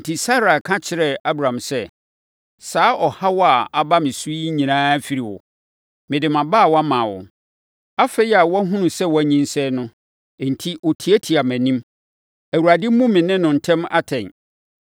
Enti Sarai ka kyerɛɛ Abram sɛ, “Saa ɔhaw a aba me so yi nyinaa firi wo! Mede mʼabaawa maa wo; afei a wahunu sɛ wanyinsɛn no enti, ɔtiatia mʼanim. Awurade mmu me ne wo ntam atɛn.”